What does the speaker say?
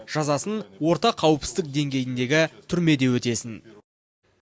жазасын орта қауіпсіздік деңгейіндегі түрмеде өтесін